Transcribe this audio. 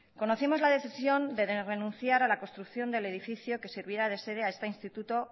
conocimos la decisión de renunciar a la construcción del edificio que servirá de sede a este instituto